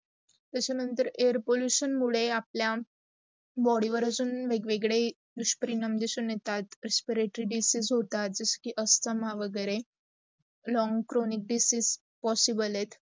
तस नंतर air pollution मुडे आपला, body वर असून वेग-वेग्दे दुसपरिणाम दिसून येतात. respiratory disease होतात जस की asthama वगैरे, long cronic disease possible आहेत